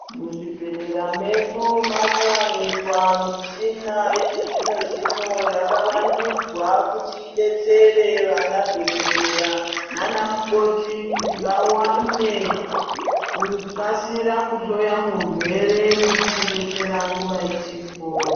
Muzvibhedhlera medu maakuwanikwa michina yechizvino-zvino yakavandudzwa kuti idetsere vanadhokodhera naanamukoti kuti vawane, kukasira kuhloya murwere nekumudetsera nguva ichipo.